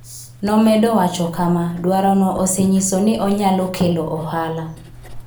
Nomedo wacho kama: "Dwarono osenyiso ni onyalo kelo ohala".